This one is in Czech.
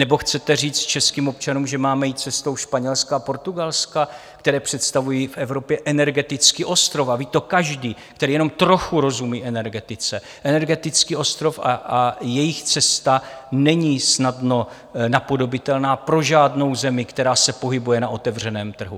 Nebo chcete říci českým občanům, že máme jít cestou Španělska a Portugalska, které představují v Evropě energetický ostrov - a ví to každý, který jenom trochu rozumí energetice - energetický ostrov a jejich cesta není snadno napodobitelná pro žádnou zemi, která se pohybuje na otevřeném trhu.